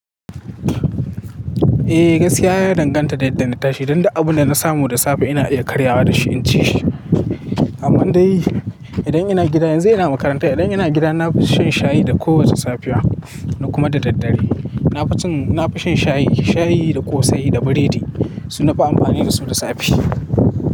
Eh, gaskiya ya danganta da yadda na tashi. Don duk abu da na samu da safe ina iya karyawa da shi in ci shi. Amma dai idan ina gida, yanzu ina makaranta, idan ina gida na fi shan shayi da kowace safiya na kuma da daddare. Na fi cin, na fi shan shayi, shayi da ƙosai da biredi sunafi amfani da su da safe.